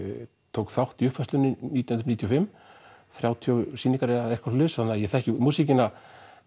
tók þátt í uppfærslunni nítján hundruð níutíu og fimm þrjátíu sýningar eða eitthvað svoleiðis þannig að ég þekki músíkina